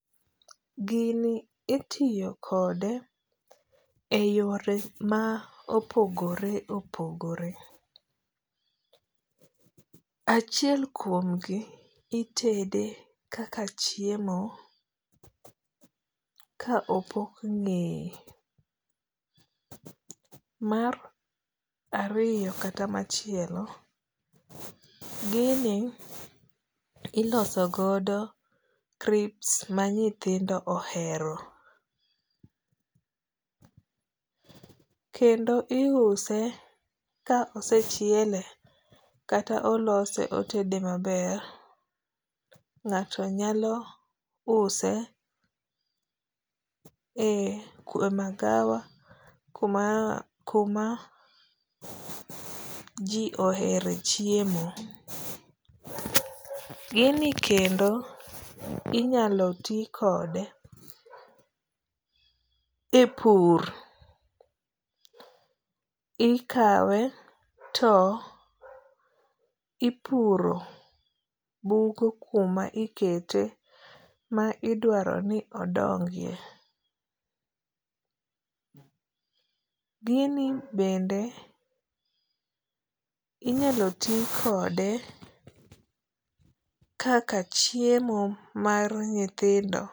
Gini itiyo kode e yore ma opogore opogore. Achiel kuom gi itede aka chiemo ka opok ng'eye. Mar ariyo kata machielo, gini iloso godo crips ma nyithindo ohero. Kendo iuse ka osechiele kata olose otede maber. Ng'ato nyalo use e magawa kuma ji ohere chiemo. Gini kendo inyalo ti kode e pur. Ikawe to ipuro bugo kuma ikete ma idwaro ni odongie. Gini bende inyalo ti kode kaka chiemo mar nyithindo